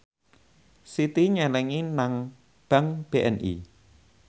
Siti nyelengi nang bank BNI